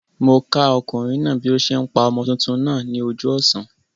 Mó okùnrin náà bí o se n pa ọmọ tuntun náà ní ojú òsán